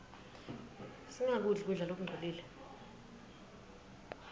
singakudli kudla lokungcolile